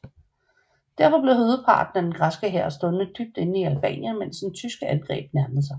Derfor blev hovedparten af den græske hær stående dybt inde i Albanien mens det tyske angreb nærmede sig